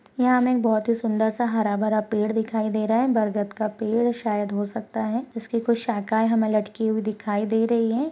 यहाँ हमें एक बहुत ही सुंदर सा हरा-भरा पेड दिखाई दे रहा है बरगद का पेड यह शायद हो सकता है जिसकी कुछ शाखाएं हमें लटकी हुई दिखाई दे रही हैं।